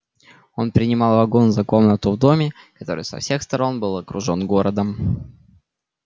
он принимал вагон за комнату в доме который со всех сторон был окружен городом